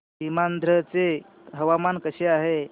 सीमांध्र चे हवामान कसे आहे